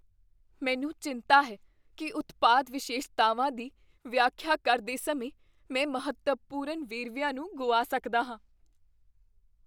ਮੈਨੂੰ ਚਿੰਤਾ ਹੈ ਕੀ ਉਤਪਾਦ ਵਿਸ਼ੇਸ਼ਤਾਵਾਂ ਦੀ ਵਿਆਖਿਆ ਕਰਦੇ ਸਮੇਂ ਮੈਂ ਮਹੱਤਵਪੂਰਨ ਵੇਰਵਿਆਂ ਨੂੰ ਗੁਆ ਸਕਦਾ ਹਾਂ।